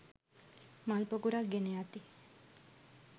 මල් පොකුරක් ගෙන යති.